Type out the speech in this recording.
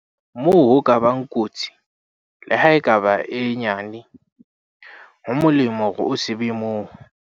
Moo ho ka bang kotsi, leha e ka ba e nyane, ho molemo hore o se be moo.